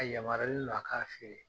A yamaruyalen do a ka feere.